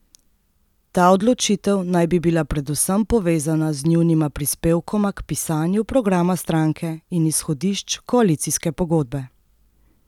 Ta odločitev naj bi bila predvsem povezana z njunima prispevkoma k pisanju programa stranke in izhodišč koalicijske pogodbe.